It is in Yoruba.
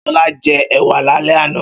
Ṣọlá jẹ ẹ̀wà lálẹ́ àná.